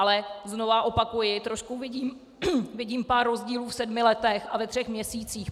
Ale znovu opakuji, trošku vidím pár rozdílů v sedmi letech a ve třech měsících.